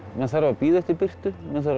maður þarf að bíða eftir birtu